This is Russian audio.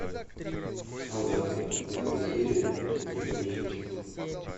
солдаты первая серия первая часть